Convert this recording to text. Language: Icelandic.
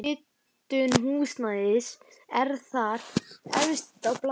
Hitun húsnæðis er þar efst á blaði.